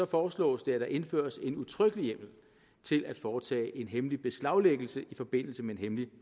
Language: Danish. foreslås det at der indføres en udtrykkelig hjemmel til at foretage en hemmelig beslaglæggelse i forbindelse med en hemmelig